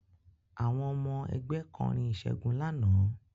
Àwọn ọmọ ẹgbẹ́ kọrin ìṣègun lánàá